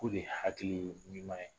Ko nin ye hakili ɲuman ye.